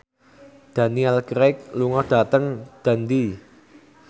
Daniel Craig lunga dhateng Dundee